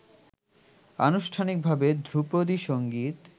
আনুষ্ঠানিক ভাবে ধ্রুপদী সংগীত